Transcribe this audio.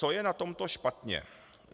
Co je na tomto špatně?